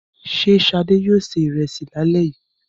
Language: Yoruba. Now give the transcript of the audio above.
Ṣé Ṣadé yóò se ìrẹsì lálẹ́ yìí?